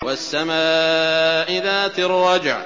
وَالسَّمَاءِ ذَاتِ الرَّجْعِ